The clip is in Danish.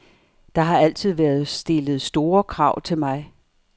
Der har altid været stillet store krav til mig.